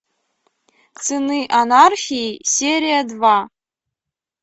сыны анархии серия два